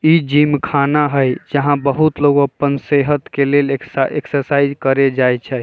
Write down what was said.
इ जिम खाना हेय जहाँ बहुत लोग अपन सेहत के लिए एक्शा एक्सरसाइज करे जाए छै।